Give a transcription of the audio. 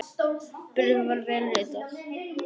Bréfið var vel ritað.